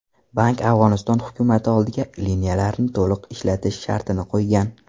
Bank Afg‘oniston hukumati oldiga liniyalarni to‘liq ishlatish shartini qo‘ygan.